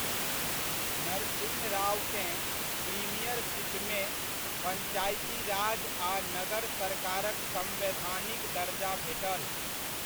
नरसिंह रावकेँ प्रीमियरशिपमे, पंचायती राज आ नगर सरकारक सम्वैधानिक दर्जा भेटल।